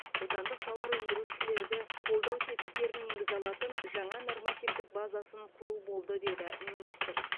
отандық тауар өндірушілерді қолдау тетіктерін енгізе алатын жаңа нормативтік базасын құру болды деді министр